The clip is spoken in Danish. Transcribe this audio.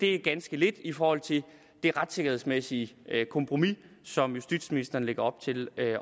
er ganske lidt i forhold til det retssikkerhedsmæssige kompromis som justitsministeren lægger op til at